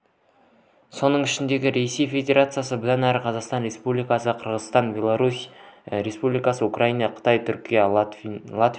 соның ішінде ресей федерациясы бұдан әрі қазақстан республикасы қырғызстан беларусь республикасы украина қытай түркия латвия